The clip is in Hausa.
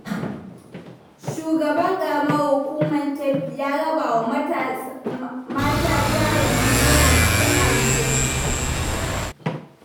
Shugaban Ƙaramar Hukumar Keffi ya raba wa mata jarin Naira dubu hamsin-hamsin.